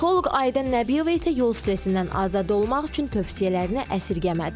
Psixoloq Aidə Nəbiyeva isə yol stresindən azad olmaq üçün tövsiyələrini əsirgəmədi.